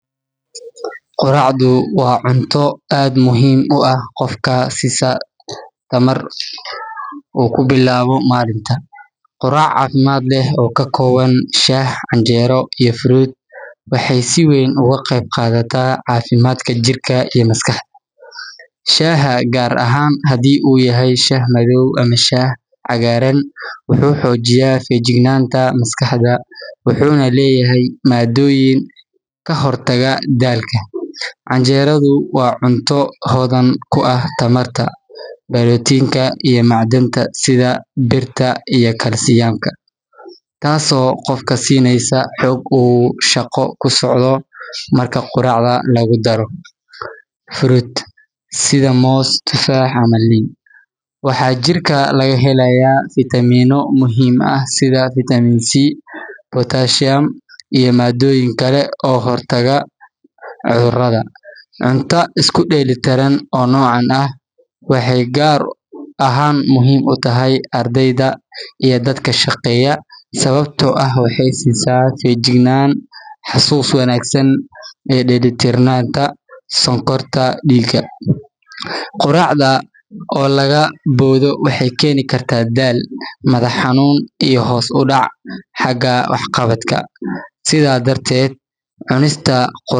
Quraacdu waa cunto aad muhiim u ah oo qofka siisa tamar uu ku bilaabo maalinta. Quraac caafimaad leh oo ka kooban shaah, canjeero iyo fruit waxay si weyn uga qeyb qaadataa caafimaadka jirka iyo maskaxda. Shaaha, gaar ahaan haddii uu yahay shaah madow ama shaah cagaaran, wuxuu xoojiyaa feejignaanta maskaxda wuxuuna leeyahay maaddooyin ka hortaga daalka. Canjeeradu waa cunto hodan ku ah tamarta, borotiinka iyo macdanta sida birta iyo kalsiyamka, taasoo qofka siinaysa xoog uu shaqo ku socdo. Marka quraacda lagu daro fruit sida moos, tufaax ama liin, waxaa jirka laga helayaa fitamiinno muhiim ah sida Vitamin C, Potassium iyo maaddooyin kale oo ka hortaga cudurrada. Cunto isku dheellitiran oo noocan ah waxay gaar ahaan muhiim u tahay ardayda iyo dadka shaqeeya, sababtoo ah waxay siisaa feejignaan, xasuus wanaagsan iyo dheelitirnaanta sonkorta dhiigga. Quraacda oo laga boodo waxay keeni kartaa daal, madax xanuun iyo hoos u dhac xagga wax qabadka. Sidaa darteed, cunista quraac.